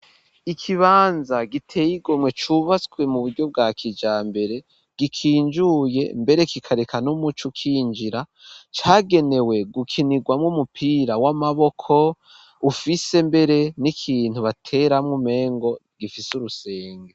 Ikibanza giteye igomwe ,cubatswe mu buryo bwa kijambere, gikinjuye mbere kikareka n'umuco uk'injira, cagenewe gukinirwamwo umupira w'amaboko ,ufise mbere n'ikintu bateramwo umengo gifise urusenge.